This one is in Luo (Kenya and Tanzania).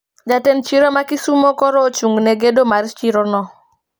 Jatend chiro ma kisumo koro ochung ne gedo mar chiro no